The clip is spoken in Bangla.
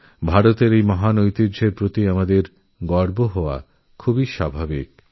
ভারতের এই মহান পরম্পরা নিয়ে সবার গর্বিত হওয়া খুব স্বাভাবিক